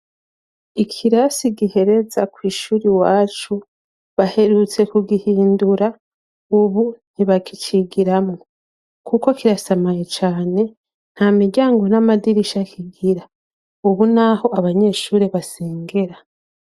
Ikirasi gihereza kw'ishure iwacu, baherutse kugihindura, ubu ntibakicigiramwo. Kuko kirasamaye cane, nta miryango n'amadirisha kigira. Abu ni aho abanyeshuri basengera.